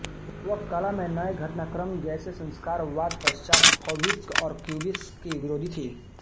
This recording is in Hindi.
वह कला में नए घटनाक्रम जैसे कि संस्कारवादपश्चात फौविस्म और क्यूबिस्म की विरोधी थी